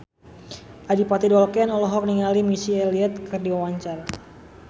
Adipati Dolken olohok ningali Missy Elliott keur diwawancara